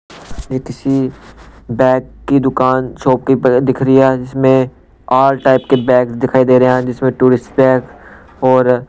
ये किसी बैग की दुकान शॉपकीपर दिख रही है जीसमें ऑल टाइप के बैग दिखाई दे रहे हैं जिसमें टूरिस्ट बैग और--